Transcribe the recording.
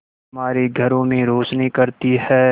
हमारे घरों में रोशनी करती है